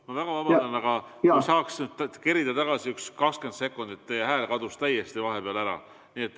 Ma väga vabandan, aga kas saaks kerida tagasi 20 sekundit, sest teie hääl kadus vahepeal täiesti ära.